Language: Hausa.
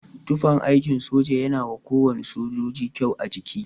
Tufan aikin soja yana wa kowane sojoji kyau a jiki.